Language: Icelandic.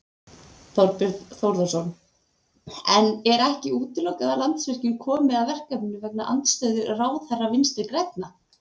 Þorbjörn Þórðarson: En er ekki útilokað að Landsvirkjun komi að verkefninu vegna andstöðu ráðherra Vinstri-grænna?